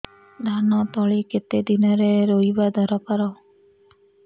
ଧାନ ତଳି କେତେ ଦିନରେ ରୋଈବା ଦରକାର